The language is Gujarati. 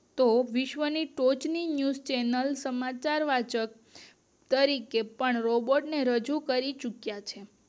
તેઓ વિશ્વ્ ના ફોઝ ની ન્યૂઝ ચેનલ સમાચાર વાચક તરીકે પણ રોબોટ ને રજુ કરી ચુક્યા છે